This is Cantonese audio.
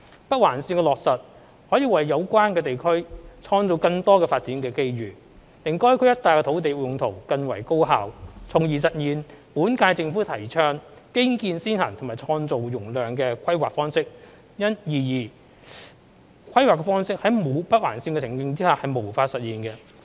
北環綫的落實可為有關地區創造更多發展機遇，令該區一帶的土地用途更為高效，從而實現本屆政府提倡"基建先行"及"創造容量"的規劃方式，而此規劃方式在沒有北環綫的情景下是無法實現的。